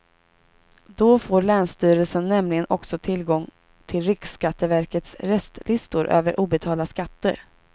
Då får länsstyrelsen nämligen också tillgång till riksskatteverkets restlistor över obetalda skatter.